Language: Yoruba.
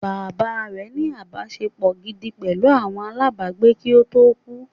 Bàbá rẹ̀ ní “ ìbáṣepọ̀ gidi pẹ̀lú àwọn alábàágbé kí ó tó kú